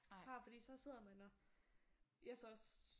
Fra fordi så sidder man og jeg er så også